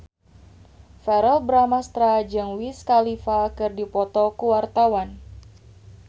Verrell Bramastra jeung Wiz Khalifa keur dipoto ku wartawan